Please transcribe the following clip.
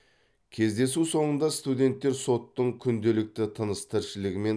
кездесу соңында студенттер соттың күнделікті тыныс тіршілігімен